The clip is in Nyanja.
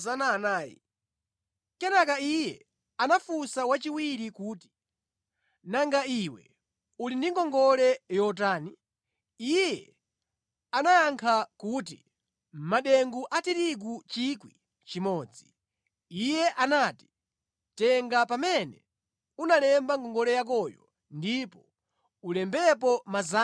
“Kenaka iye anafunsa wachiwiri kuti, ‘Nanga iwe uli ndi ngongole yotani?’ “Iye ayankha kuti madengu a tirigu 1,000. “Iye anati, ‘Tenga pamene unalemba ngongole yakoyo ndipo ulembepo 800.’